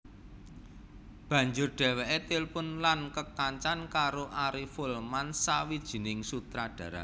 Banjur dhèwèké tilpun lan kekancan karo Ari Folman sawijining sutradara